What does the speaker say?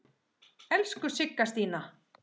Elsku Sigga Stína.